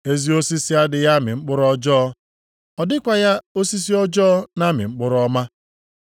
“Ezi osisi adịghị amị mkpụrụ ọjọọ. Ọ dịkwaghị osisi ọjọọ na-amị mkpụrụ ọma.